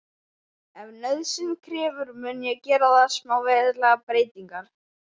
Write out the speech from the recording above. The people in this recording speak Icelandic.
Ef nauðsyn krefur mun ég gera þar smávægilegar breytingar.